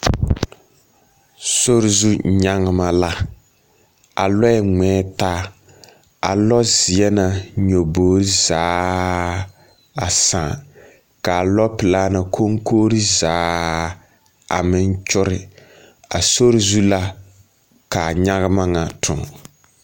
Sori ze nyegema la. A lͻԑ ŋmԑԑ taa, a zeԑ na nyaboori zaaaa a sãã. Ka a lͻpelaa la koŋkogiri zaaa a meŋ kyore. A sori zu la ka a nyagema ŋa toŋ.